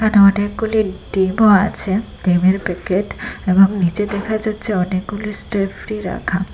এখানে অনেকগুলি ডিমও আছে ভিমের প্যাকেট এবং নীচে দেখা যাচ্ছে অনেকগুলি স্টেফ্রি রাখা।